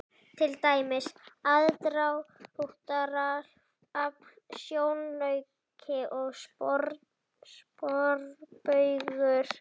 Til dæmis: aðdráttarafl, sjónauki og sporbaugur.